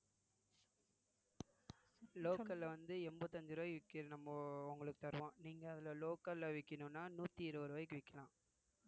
local ல வந்து எண்பத்தி அஞ்சு ரூவாய்க்கு விக்கிது நம்மோ உங்களுக்கு தருவோம் நீங்க அதுல local ல விக்கணும்ன்னா நூத்தி இருபது ரூபாய்க்கு விக்கலாம்